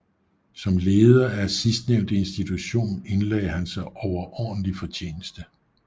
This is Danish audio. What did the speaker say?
Som leder af sidstnævnte institution indlagde han sig overordentlig fortjeneste